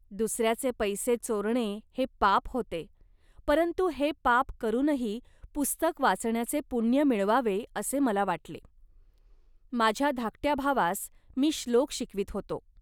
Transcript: दुसऱ्याचे पैसे चोरणे हे पाप होते, परंतु हे पाप करूनही पुस्तक वाचण्याचे पुण्य मिळवावे, असे मला वाटले. माझ्या धाकट्या भावास मी श्लोक शिकवीत होतो